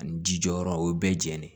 Ani ji jɔyɔrɔ o bɛɛ jɛnnen